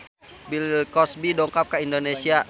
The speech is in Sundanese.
Bill Cosby dongkap ka Indonesia